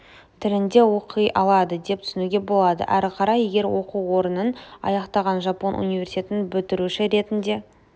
тілінде оқи алады деп түсінуге болады әрі қарай егер оқу орнын аяқтаған жапон университетін бітіруші ретінде